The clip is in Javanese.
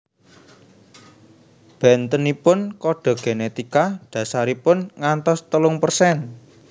Bentenipun kode genetika dasaripun ngantos telung persen